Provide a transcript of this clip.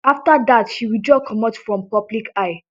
afta dat she withdraw comot from public eye